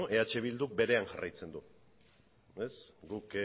eh bilduk berean jarraitzen du guk